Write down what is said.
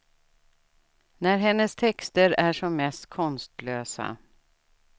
När hennes texter är som mest konstlösa.